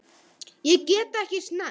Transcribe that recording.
Ég get ekki snert.